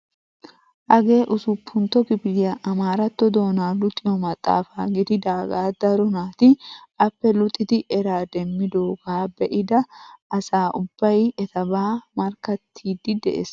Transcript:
Hagee usuppuntto kifiliyaa amaaratto doonaa luxxiyoo maxafaa gididagaa daro naati appe luxidi eraa demmidoogaa be'ida asa ubbay etabaa markkattiidi de'ees.